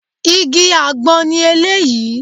Igi àgbọn ni eléyìí